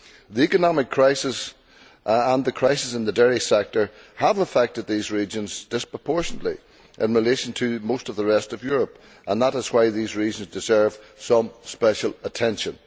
The economic crisis and the crisis in the dairy sector have affected these regions disproportionately in relation to most of the rest of Europe, and that is why these regions deserve some special attention.